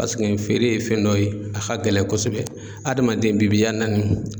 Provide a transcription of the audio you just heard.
Paseke feere ye fɛn dɔ ye a ka gɛlɛn kosɛbɛ adamaden bi biya naani.